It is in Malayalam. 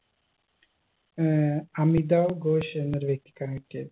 ഏർ അമിതാവ് ഘോഷ് എന്നൊരു വ്യക്തിക്കാണ് കിട്ടിയത്